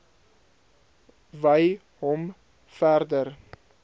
wy hom verder